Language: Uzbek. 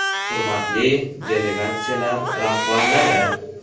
Hurmatli delegatsiyalar rahbarlari!